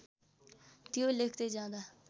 त्यो लेख्दै जाँदा